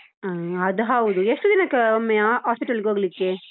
ಹಾ ಅದು ಹೌದು, ಎಷ್ಟು ದಿನಕ್ಕೊಮ್ಮೆ hospital ಗೆ ಹೋಗ್ಲಿಕ್ಕೆ?